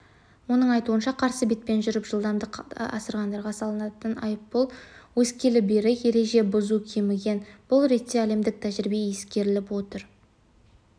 оның айтуынша қарсы бетпен жүріп жылдамдықты асырғандарға салынатын айыппұл өскелі бері ереже бұзу кеміген бұл ретте әлемдік тәжірибе ескеріліп отыр